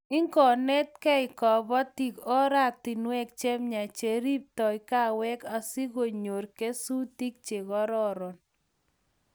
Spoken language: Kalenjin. ingonetgei kabotiik ortinwek chemiach cheribtoi kaawek asikonyoru kesutik chekororon